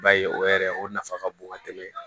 Ba ye o yɛrɛ o nafa ka bon ka tɛmɛ